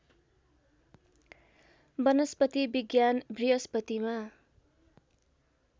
वनस्पति विज्ञान बृहस्पतिमा